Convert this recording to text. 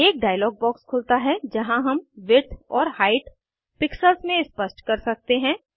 एक dialog box खुलता है जहाँ हम विड्थ और हाइट पिक्सेल्स में स्पष्ट कर सकते हैं